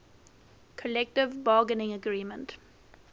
collective bargaining agreement